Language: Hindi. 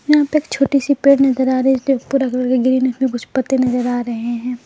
यहां पे एक छोटी सी पेड़ नजर आ रही है पूरा कलर का ग्रीन है इसमें कुछ पत्ते नजर आ रहे हैं।